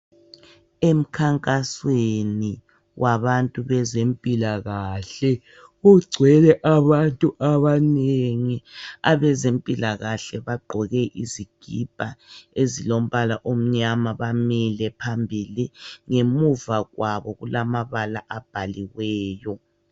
Emkhankasweni wabantu bezempilakahle kugcwele abantu abanengi. Abezempilakahle bagqoke izikipa ezilombala omnyama bamile phambili, ngemuva kwabo kulamabala abhaliweyo.